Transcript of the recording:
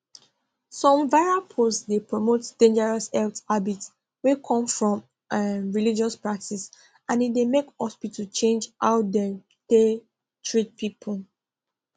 some viral post dey promote dangerous health habit wey come from um religious practice and e dey make hospital change how dem dey treat people